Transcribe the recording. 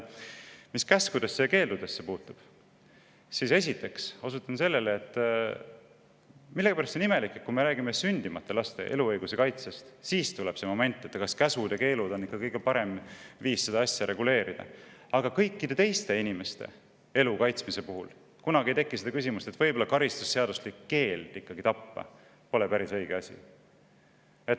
Mis käskudesse ja keeldudesse puutub, siis esiteks osutan sellele, et millegipärast on, et kui me räägime sündimata laste eluõiguse kaitsest, siis tekib moment, kus, kas käsud ja keelud on ikka kõige parem viis seda asja reguleerida, aga kõikide teiste inimeste elu kaitsmise puhul ei teki küsimust, et võib-olla karistusseaduslik keeld tappa pole ikka päris õige asi.